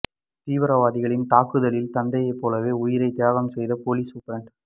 தீவிரவாதிகளின் தாக்குதலில் தந்தையைப் போலவே உயிரை தியாகம் செய்த போலீஸ் சூப்பிரண்டு